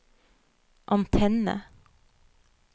antenne